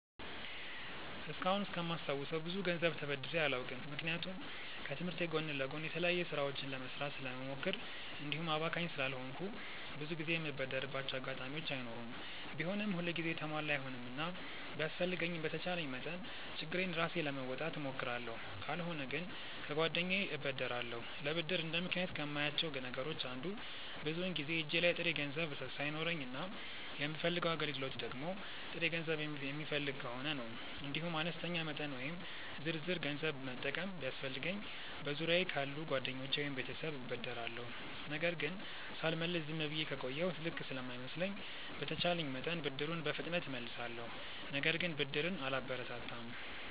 እስካሁን እስከማስታውሰው ብዙ ገንዘብ ተበድሬ አላውቅም። ምክንያቱም ከትምህርቴ ጎን ለጎን የተለያዩ ስራዎችን ለመስራት ስለምሞክር እንዲሁም አባካኝ ስላልሆንኩ ብዙ ጊዜ የምበደርባቸው አጋጣሚዎች አይኖሩም። ቢሆንም ሁል ጊዜ የተሟላ አይሆንምና ቢያስፈልገኝም በተቻለኝ መጠን ችግሬን ራሴ ለመወጣት እሞክራለሁ። ካልሆነ ግን ከጓደኛዬ እበደራለሁ። ለብድር እንደ ምክንያት ከማያቸው ነገሮች አንዱ ብዙውን ጊዜ እጄ ላይ ጥሬ ገንዘብ ሳይኖረኝ እና የምፈልገው አገልግሎት ደግሞ ጥሬ ገንዘብ የሚፈልግ ከሆነ ነው። እንዲሁም አነስተኛ መጠን ወይም ዝርዝር ገንዘብ መጠቀም ቢያስፈልገኝ በዙሪያየ ካሉ ጓደኞቼ ወይም ቤተሰብ እበደራለሁ። ነገር ግን ሳልመልስ ዝም ብዬ ከቆየሁ ልክ ስለማይመስለኝ በተቼለኝ መጠን ብድሩን በፍጥነት እመልሳለሁ። ነገር ግን ብድርን አላበረታታም።